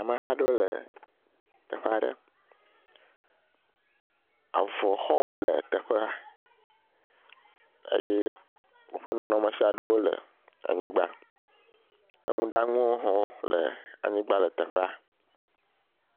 Ameha aɖewo le teƒe aɖe. Avɔ xɔwo le teƒea eye woƒe nunɔemesi aɖe le anyigba . Nuɖanuwo hã wole teƒea le anyigba.